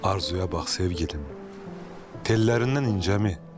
Arzuya bax sevgilim, tellərindən incəmi?